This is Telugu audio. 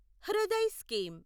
హృదయ్ స్కీమ్